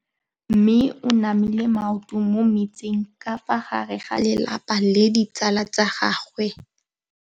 Mme o namile maoto mo mmetseng ka fa gare ga lelapa le ditsala tsa gagwe.